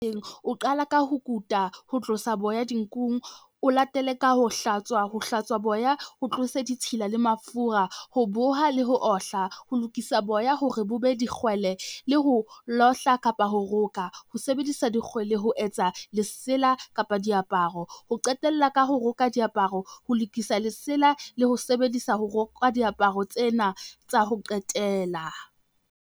O qala ka ho kuta, ho tlosa boya di nkung, o latele ka ho hlatswa, ho hlatswa boya o tlose ditshila le mafura. Ho boha le ho ohla, ho lokisa boya hore bo be dikgwele le ho lohla kapa ho roka. Ho sebedisa dikgwele, ho etsa lesela kapa diaparo, o qetella ka ho roka diaparo, ho lokisa lesela le ho sebedisa ho roka diaparo tsena tsa ho qetela.